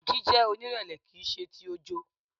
Jíjẹ́ onírẹ̀lẹ̀ kìí ṣe ti ojo.